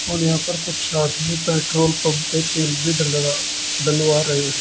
और यहां पर कुछ आदमी पेट्रोल पंप पे तेल भी डला डलवा रहे हैं।